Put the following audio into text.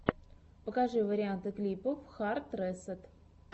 покажи варианты клипов хард ресэт